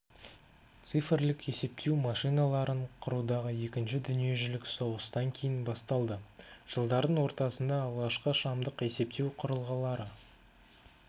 цифрлік есептеу машиналарын құрудағы екінші дүниежүзілік соғыстан кейін басталды жылдардың ортасында алғашқы шамдық есептеу құрылғылыры